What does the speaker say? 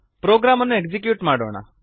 program ಅನ್ನು execute ಮಾಡೋಣ